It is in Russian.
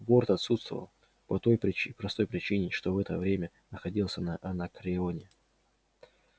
борт отсутствовал по той простой причине что в это время находился на анакреоне